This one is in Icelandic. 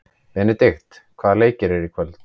Benidikt, hvaða leikir eru í kvöld?